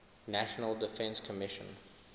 national defense commission